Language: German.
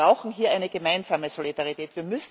Wir brauchen hier eine gemeinsame Solidarität.